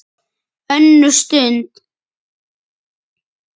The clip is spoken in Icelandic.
ÖNNUR STUND